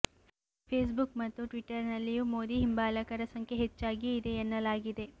Facebook ಮತ್ತು Twitter ನಲ್ಲಿಯೂ ಮೋದಿ ಹಿಂಬಾಲಕರ ಸಂಖ್ಯೆ ಹೆಚ್ಚಾಗಿಯೇ ಇದೆ ಎನ್ನಲಾಗಿದೆ